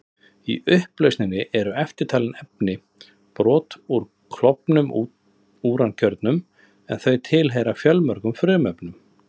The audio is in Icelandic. Í upplausninni eru eftirtalin efni: Brot úr klofnum úrankjörnum, en þau tilheyra fjölmörgum frumefnum.